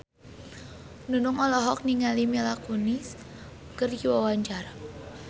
Nunung olohok ningali Mila Kunis keur diwawancara